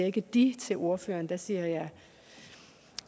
ikke de til ordføreren jeg siger